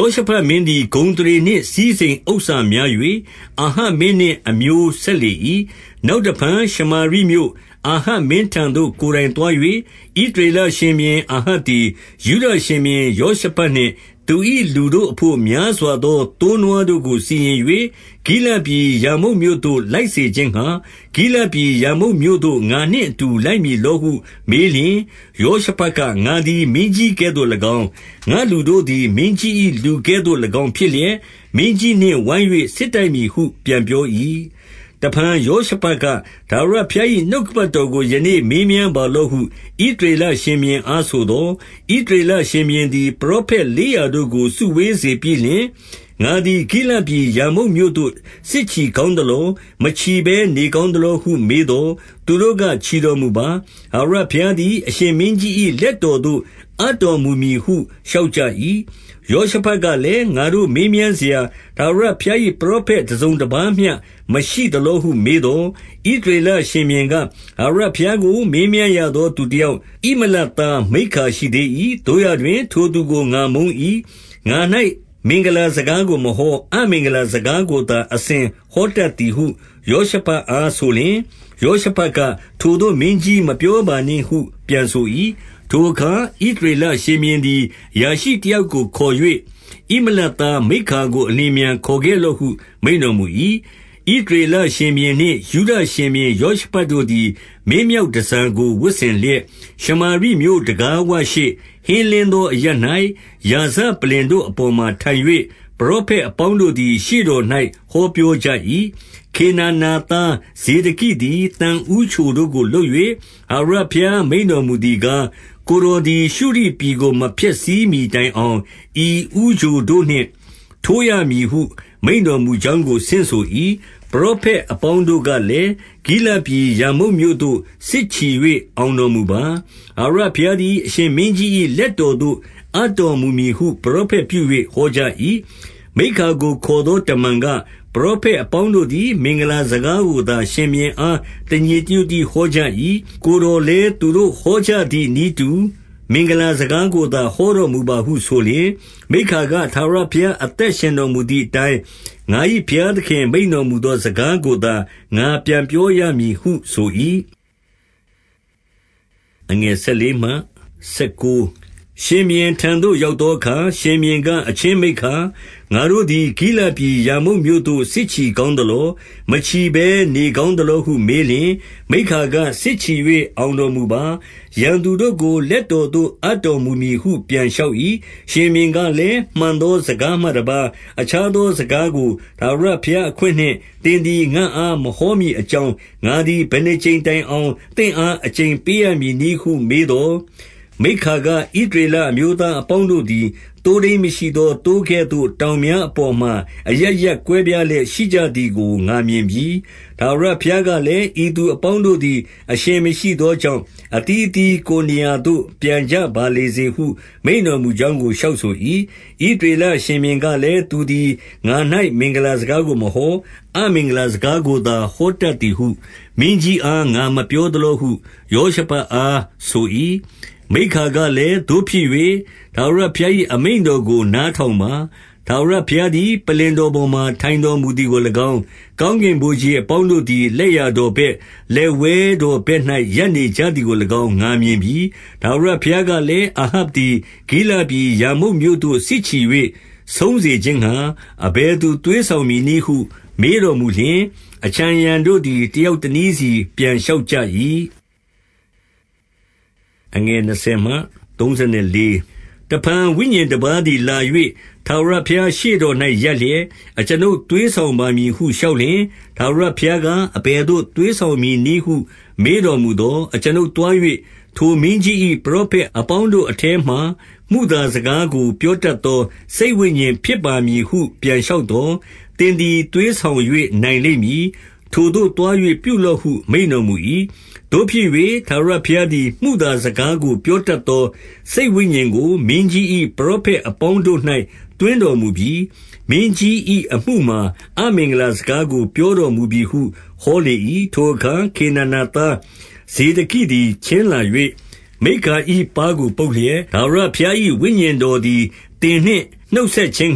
ောရှဖတ်မင်းသည် ဂုဏ်အသရေနှင့် စည်းစိမ် ဥစ္စာများ၍၊ အာဟပ်မင်းနှင့် အမျိုးဆက်လေ၏။ 2 နောက်တဖန်ရှမာရိမြို့၊ အာဟပ်မင်းထံသို့ ကိုယ်တိုင်သွား၍၊ ဣသရေလရှင်ဘုရင်အာဟပ်သည် ယုဒရှင်ဘုရင်ယောရှဖတ်နှင့်၊ သူ၏လူတို့အဘို့ များစွာ သော သိုးနွားတို့ကိုစီရင်၍၊ ဂိလဒ်ပြည်ရာမုတ်မြို့သို့ လိုက်စေခြင်းငှါ၊ 3 ဂိလဒ်ပြည်ရာမုတ်မြို့သို့ ငါနှင့်အတူ လိုက်မည် လောဟုမေးလျှင်၊ ယောရှုဖတ်က၊ ငါသည် မင်းကြီးကဲ့သို့ ၎င်း၊ ငါသူတို့သည် မင်းကြီး၏လူကဲ့သို့ဖြစ်လျက်၊ မင်းကြီး နှင့်ဝိုင်း၍ စစ်တိုက်မည်ဟု ပြန်ပြော၏။ 4 တဖန်ယောရှဖတ်က၊ ထာဝရဘုရား၏ နှုတ် ကပတ်တော်ကို ယနေ့မေးမြန်းပါလော့ဟု ဣသရေလ ရှင်ဘုရင်အားဆိုသော်၊ 5 ဣသရေလရှင်ဘုရင်သည် ပရောဖက်လေးရာ တို့ကို စုဝေးစေပြီးလျှင်၊ ငါသည်ဂိလဒ်ပြည်ရာမုတ်မြို့သို့ စစ်ချီကောင်းသလော။ မချီဘဲနေ ကောင်းသလောဟု မေးသော်၊ သူတို့က ချီတော်မူပါ။ ထာဝရဘုရားသည် အရှင်မင်းကြီး၏လက်တော်သို့ အပ်တော်မူမည်ဟု လျှောက် ကြ၏။ 6 ယောရှဖတ်ကလည်း၊ ငါတို့မေးမြန်းစရာ ထာဝရဘုရား၏ ပရောဖက်တစုံတပါးမျှမရှိသလောဟု မေးသော်၊ 7 ဣသရေလရှင်ဘုရင်က၊ ထာဝရဘုရားကို မေးမြန်းရသော သူတယောက်၊ ဣမလသားမိက္ခာ ရှိသေး၏။ သို့ရာတွင်။ ထိုသူကိုငါမုန်း၏။ ငါ၌ မင်္ဂလာစကားကိုမဟော၊ အမင်္ဂလာစကားကိုသာ အစဉ်ဟောတတ်သည်ဟု ယောရှဖတ်အားဆိုလျှင်၊ ယောရှဖတ်က၊ ထိုသို့မင်းကြီး မပြောပါနှင့်ဟု ပြန်ဆို၏။ 8 ထိုအခါ ဣသရေလရှင်ဘုရင်သည် အရာရှိ တယောက်ကိုခေါ်၍၊ ဣမလသားမိက္ခာကို အလျင် အမြန်ခေါ်ခဲ့ဟု မိန့်တော်မူ၏။ 9 ဣသရေလရှင်ဘုရင်နှင့် ယုဒရှင်ဘုရင် ယော ရှဖတ်တို့သည် မင်းမြောက်တန်ဆာကို ဝတ်ဆင်လျက်၊ ရှမာရိမြို့တံခါးဝရှေ့၊ ဟင်းလင်းသောအရပ်၌ ရာဇပလ္လင် တို့အပေါ်မှာ ထိုင်၍၊ ပရောဖက်အပေါင်းတို့သည် ရှေ့တော်၌ ဟောပြောကြ၏။ 10 ခေနာနာသားဇေဒကိသည် သံဦးချိုတို့ကို လုပ်၍၊ ထာဝရဘုရား မိန့်တော်မူသည်ကား၊ ကိုယ်တော် သည် ရှုရိပြည်ကို မဖျက်ဆီးမှီတိုင်အောင်၊ ဤဦးချိုတို့နှင့် တိုးရမည်ဟု မိန့်တော်မူကြောင်းကို ဆင့်ဆို၏။ 11 ပရောဖက်အပေါင်းတို့ကလည်း၊ ဂိလဒ်ပြည် ရာမုတ်မြို့သို့စစ်ချီ၍ အောင်တော်မူပါ၊ ထာဝရ ဘုရားသည် အရှင်မင်းကြီး၏လက်တော်သို့ အပ်တော် မူမည်ဟု ပရောဖက်ပြု၍ ဟောကြ၏။ 12 မိက္ခာကိုခေါ်သောတမန်က၊ ပရောဖက် အပေါင်းတို့သည် မင်္ဂလာစကားကိုသာ ရှင်ဘုရင်အား တညီတညွတ်တည်း ဟောကြ၏။ ကိုယ်တော်လည်း သူတို့ဟောကြသည်နည်းတူ၊ မင်္ဂလာစကားကိုသာ ဟောတော်မူပါဟုဆိုလျှင်၊ 13 မိက္ခာက၊ ထာဝရဘုရား အသက်ရှင်တော်မူ သည်အတိုင်း၊ ငါ၏ဘုရားသခင်မိန့်တော်မူသော စကားကိုသာ ငါပြန်ပြောရမည်ဟုဆို၏။ 14 ရှင်ဘုရင်ထံသို့ရောက်သောအခါ၊ ရှင်ဘုရင်က၊ အချင်းမိက္ခာ၊ ငါတို့သည် ဂိလဒ်ပြည်ရာမုတ်မြို့သို့ စစ်ချီ ကောင်းသလော။ မချီဘဲနေ ကောင်းသလောဟုမေးလျှင်၊ မိက္ခာကစစ်ချီ၍ အောင်တော်မူပါ။ ရန်သူတို့ကို လက်တော်သို့ အပ်တော်မူမည်ဟု ပြန်လျှောက်၏။ 15 ရှင်ဘုရင်ကလည်း၊ မှန်သောစကားမှတပါး အခြားသောစကားကို ထာဝရဘုရားအခွင့်နှင့် သင်သည် ငါ့အားမဟောမည်အကြောင်း၊ ငါသည်ဘယ်နှစ်ကြိမ် တိုင်အောင် သင့်အား အကျိန်ပေးရမည်နည်းဟု မေးသော်၊ 16 မိက္ခာက၊ ဣသရေလအမျိုးသားအပေါင်းတို့ သည် သိုးထိန်းမရှိသောသိုးကဲ့သို့ တောင်များအပေါ်မှာ အရပ်ရပ်ကွဲပြားလျက်ရှိကြသည်ကို ငါမြင်ပြီ။ ထာဝရ ဘုရားကလည်း၊ ဤသူအပေါင်းတို့သည် အရှင်မရှိသော ကြောင့်၊ အသီးသီးကိုယ်နေရာသို့ ပြန်ကြပါလေစေဟု မိန့်တော်မူကြောင်းကို လျှောက်ဆို၏။ 17 ဣသရေလရှင်ဘုရင်ကလည်း၊ သူသည် ငါ၌ မင်္ဂလာစကားကိုမဟော၊ အမင်္ဂလာစကားကိုသာ ဟောတတ်သည်ဟုမင်းကြီးအား ငါမပြောသလောဟု ယောရှဖတ်အားဆို၏။ 18 မိက္ခာကလည်း၊ သို့ဖြစ်၍ ထာဝရဘုရား၏ အမိန့်တော်ကို နားထောင်ပါ။ ထာဝရဘုရားသည် ပလ္လင် တော်ပေါ်မှာ ထိုင်တော်မူသည်ကို၎င်း၊ ကောင်းကင် ဗိုလ်ခြေအပေါင်းတို့သည် လက်ျာတော်ဘက်၊ လက်ဝဲ တော်ဘက်၌ရပ်နေကြသည်ကို၎င်း၊ ငါမြင်ပြီ။ 19 ထာဝရဘုရားကလည်း၊ အာဟပ်သည် ဂိလဒ် ပြည်ရာမုတ်မြို့သို့ စစ်ချီ၍ဆုံးစေခြင်းငှါ၊ အဘယ်သူ သွေးဆောင်မည်နည်းဟု မေးတော်မူလျှင်၊ အခြံအရံ တော်တို့သည် တယောက်တနည်းစီ ပြန်လျှောက်ကြ၏။ 20 တဖန်ဝိညာဉ်တပါးသည်လာ၍ ထာဝရဘုရား ရှေ့တော်၌ ရပ်လျက်၊ အကျွန်ုပ်သွေးဆောင်ပါမည်ဟု လျှောက်လျှင်၊ 21 ထာဝရဘုရားက၊ အဘယ်သို့သွေးဆောင်မည် နည်းဟု မေးတော်မူသော်၊ အကျွန်ုပ်သွား၍ ထိုမင်းကြီး ၏ပရောဖက်အပေါင်းတို့ထဲမှာ၊ မုသားစကားကို ပြော တတ်သော စိတ်ဝိညာဉ်ဖြစ်ပါမည်ဟု ပြန်လျှောက်သော် သင်သည်သွေးဆောင်၍ နိုင်လိမ့်မည်။ ထိုသို့သွား၍ ပြုလော့ဟု မိန့်တော်မူ၏။ 22 သို့ဖြစ်၍ ထာဝရဘုရားသည် မုသာစကားကို ပြောတတ်သော စိတ်ဝိညာဉ်ကို မင်းကြီး၏ပရောဖက် အပေါင်းတို့၌ သွင်းတော်မူပြီ။ မင်းကြီး၏အမှုမှာ အမင်္ဂလာစကားကို ပြောတော်မူပြီဟု ဟောလေ၏။ 23 ထိုအခါ ခေနာနာသားဇေဒကိသည် ချဉ်းလာ၍ မိက္ခာ၏ပါးကို ပုတ်လျက်၊ ထာဝရဘုရား၏ ဝိညာဉ်တော် သည် သင်နှင့်နှုတ်ဆက်ခြင်း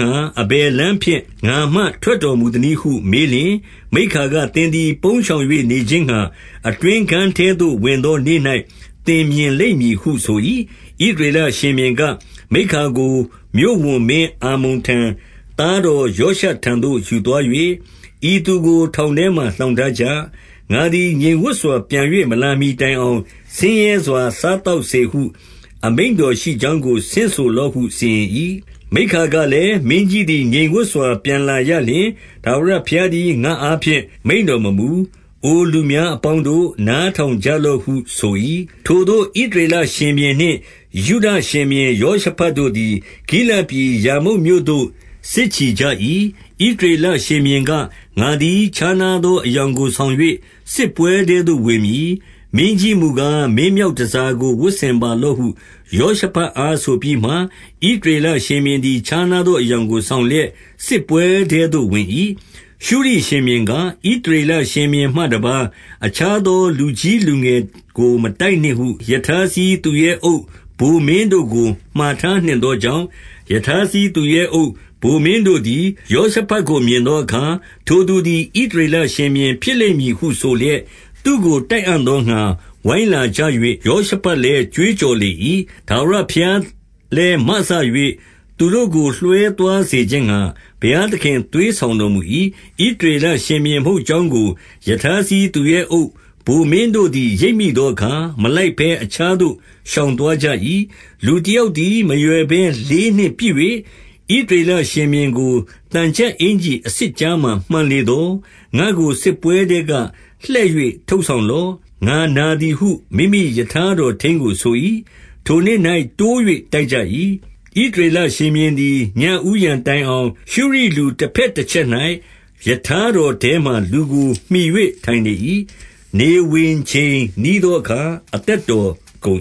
ငှါ၊ အဘယ်လမ်းဖြင့် ငါမှ ထွက်တော်မူသနည်းဟု မေးလျှင်၊ 24 မိက္ခာက၊ သင်သည်ပုန်းရှောင်၍နေခြင်းငှါ၊ အတွင်းခန်းထဲသို့ ဝင်သောနေ့၌ သင်မြင်လိမ့်မည်ဟု ဆို၏။ 25 ဣသရေလရှင်ဘုရင်က၊ မိက္ခာကို မြို့ဝန်မင်း အာမုန်ထံ၊ သားတော်ယောရှထံသို့ ယူသွား၍၊ 26 ဤသူကို ထောင်ထဲမှာလှောင်ထားကြ။ ငါသည် ငြိမ်ဝပ်စွာပြန်၍ မလာမှီတိုင်အောင်၊ ဆင်းရဲစွာ စားသောက်စေဟု အမိန့်တော်ရှိကြောင်းကို ဆင့်ဆိုလော့ ဟု စီရင်၏။ 27 မိက္ခာကလည်း၊ မင်းကြီးသည် ငြိမ်စပ်စွာ ပြန်လာရလျှင်၊ ထာဝရဘုရားသည် ငါ့အားဖြင့်မိန့်တော် မမူ၊ အိုလူများအပေါင်းတို့၊ နားထောင်ကြလော့ဟုဆို၏။ 28 ထိုသို့ ဣသရေလရှင်ဘုရင်နှင့် ယုဒရှင်ဘုရင် ယောရှဖတ်တို့သည်၊ ဂိလဒ်ပြည်ရာမုတ်မြို့သို့ စစ်ချီကြ၏။ 29 ဣသရေလရှင်ဘုရင်က၊ ငါသည် ခြားနားသော အယောင်ကို ဆောင်၍စစ်ပွဲထဲသို့ ဝင်မည်။ မင်းကြီးမူ ကား၊ မင်မြောက်တန်ဆာကို ဝတ်ဆင်ပါလော့ဟု ယောရှ ဖတ်အားဆိုပြီးမှ၊ ဣသရေလရှင်ဘုရင်သည် ခြားနား သော အယောင်ကိုဆောင်လျက် စစ်ပွဲထဲသို့ဝင်၏။ 30 ရှုရိရှင်ဘုရင်က၊ ဣသရေလရှင်ဘုရင်မှတပါး၊ အခြားသော လူကြီးလူငယ်ကို မတိုက်နှင့်ဟု ရထားစီး သူရဲအုပ်ဗိုလ်မင်းတို့ကိုမှာထားနှင့်သောကြောင့်၊ 31 ရထားစီးသူရဲအုပ်ဗိုလ်မင်းတို့သည် ယောရှဖတ် ကိုမြင်သောအခါ၊ ထိုသူသည် ဣသရေလရှင်ဘုရင် ဖြစ်လိမ့်မည်ဟုဆိုလျက်၊ သူ့ကို တိုက်အံ့သောငှါ ဝိုင်းလာ ကြ၍၊ ယောရှဖတ်လည်း ကြွေးကြော်လေ၏။ ထာဝရ ဘုရားလည်းမစ၍ သူတို့ကိုလွှဲသွားစေခြင်းငှါ၊ ဘုရား သခင်သွေးဆောင်တော်မူ၏။ 32 ဣသရေလရှင်ဘုရင်မဟုတ်ကြောင်းကို၊ ရထားစီးသူရဲအုပ်ဗိုလ်မင်းတို့သည် ရိပ်မိသောအခါ၊ မလိုက်ဘဲ အခြားသို့ ရှောင်သွားကြ၏။ 33 လူတယောက်သည် မရွယ်ဘဲလေးနှင့်ပစ်၍၊ ဣသရေလရှင်ဘုရင်ကို၊ သံချပ်အင်္ကျီအဆစ်ကြားမှာ မှန်လေသော်၊ ငါ့ကိုစစ်ပွဲထဲက လှည့်၍ ထုတ်ဆောင် လော့။ ငါနာသည်ဟု မိမိရထားတော်ထိန်းကိုဆို၏။ 34 ထိုနေ့၌တိုး၍တိုက်ကြ၏။ ဣသရေလရှင်ဘုရင် သည် ညဦးယံတိုင်အောင်၊ ရှုရိလူတဘက်တချက်၌ ရထားတော်ထဲမှာ လူကိုမှီ၍ထိုင်နေ၏။ နေဝင်ချိန်နီး သောအခါ အသက်တော်ကုန်